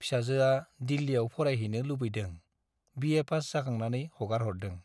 फिसाजोआ दिल्लीयाव फारायहैनो लुबैदों, बिएपास जाखांनानै हगारहरदों।